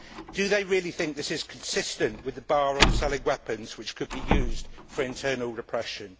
Do they really think this is consistent with the ban on selling weapons which could be used for internal repression?